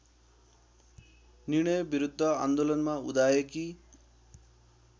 निर्णयविरुद्ध आन्दोलनमा उदाएकी